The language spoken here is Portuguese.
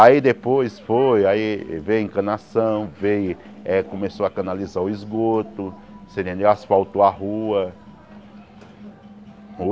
Aí depois foi, aí veio encanação, veio eh começou a canalizar o esgoto você entendeu, asfaltou a rua.